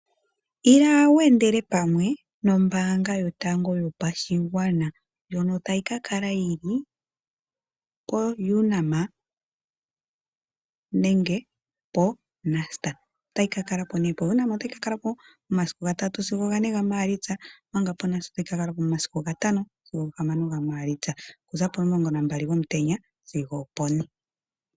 Ila weendele pamwe nombaanga yotango yopashigwana , ndjono tayi kakala yili koUnam nenge poNust. PoUnam otayi kakalapo okuza 3 sigo 4 Maalitsa, omanga poNust okuza 5 sigo 6 Maalitsa potundi 12 sigo opone.